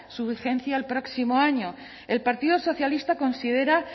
su vigencia el próximo año el partido socialista considera